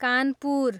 Kanpur